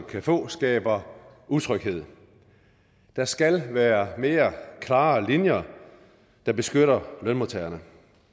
kan få skaber utryghed der skal være mere klare linjer der beskytter lønmodtagerne